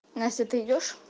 настя ты идёшь